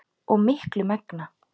og miklu megna.